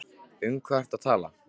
Um hvað ertu nú að tala?